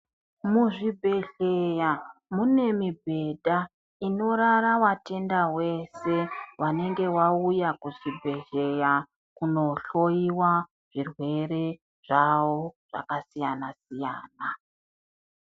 Muzvibhedhleya mune mubhedha inorara vatenda vese vanenge vauya kuzvibhedhleya kunohloyiwa zvirwere zvavo zvakasiyana siyana.